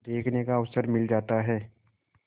देखने का अवसर मिल जाता है